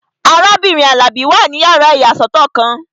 Arábìnrin Alabi wà ní yàrá ìyàsọ́tọ̀ kan